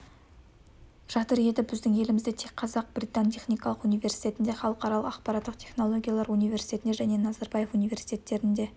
жатыр еді біздің елімізде тек қазақ-британ техникалық университетінде халықаралық ақпараттық технологиялар университетінде және назарбаев университетінде